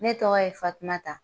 Ne tɔgɔ ye Fatumata.